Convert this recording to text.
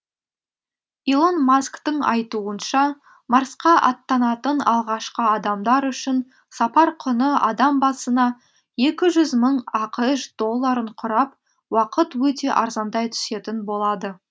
илон масктың айтуынша марсқа аттанатын алғашқы адамдар үшін сапар құны адам басына екі жүз мың ақш долларын құрап уақыт өте арзандай түсетін болады